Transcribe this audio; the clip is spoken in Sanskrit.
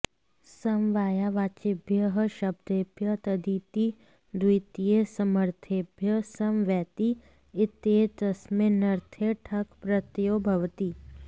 समवायावाचिभ्यः शब्देभ्यः तदिति द्वितीयासमर्थेभ्यः समवैति इत्येतस्मिन्नर्थे ठक् प्रत्ययो भवति